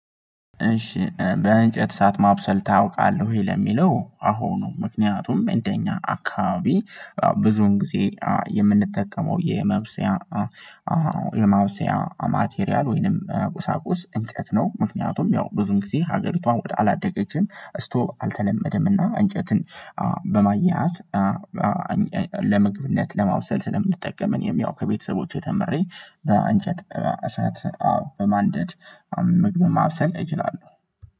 እሺ በእንጨት እሳት ማብሰል ታውቃለህ ወይ? ለሚለው አዎ ነው። ምክንያቱም እንደኛ አካባቢ ብዙውን ጊዜ የምንጠቀመው የመብሰያ የማብሰያ ማቴሪያል ወይንም ቁሳቁስ እንጨት ነው። ምክንያቱም ያው ብዙን ጊዜ ሀገሪቷም ወደ አላደገችም ስቶቭ አልተለመደምና እንጨትን በማያያዝ ለመግብነት ለማብሰል ስለምንጠቀም። እኔም ያው ከቤተሰቦቼ ተምሬ በእንጨት እሳት በማንደድ ምግብን ማብሰል እችላለሁ